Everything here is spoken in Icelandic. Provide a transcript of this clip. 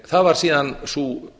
það var síðan sú